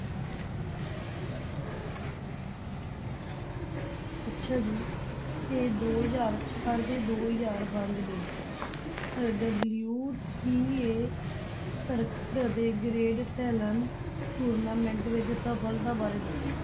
ਅੱਛਾ ਜੀ ਤੇ ਦੋ ਹਜ਼ਾਰ ਚਾਰ ਤੇ ਦੋ ਹਜ਼ਾਰ ਪੰਜ ਦੇ ਅਹ WTA ਸਰਕਟ ਅਤੇ grand slam tournament ਵਿੱਚ ਸਫਲਤਾ ਬਾਰੇ ਦੱਸੋ।